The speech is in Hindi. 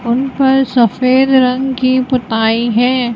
उन पर सफेद रंग की पुताई है।